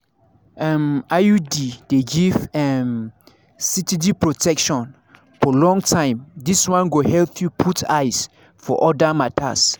um iud dey give um steady protection for long time this one go help you put eyes for other matters.